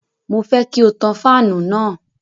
Mo fẹ́ kí o tan fáànù náà.